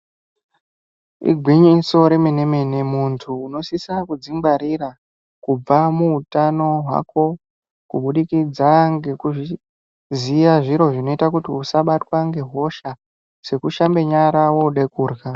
Igwinyiso remenemene muntu unosisa kudzingwarira kubva muutano hwako kubudikidza ngekuziya zviro zvinoita kuti usabatwa ngehosha sekushambe nyara woda kurya.